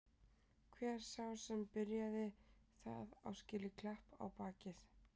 Hver sá sem byrjaði það á skilið klapp á bakið.